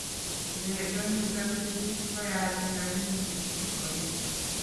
Cheyeetu eng disabilities ko yaach kaimutik chekoeen